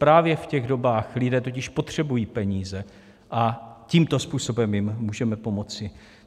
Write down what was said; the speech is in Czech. Právě v těch dobách lidé totiž potřebují peníze a tímto způsobem jim můžeme pomoci.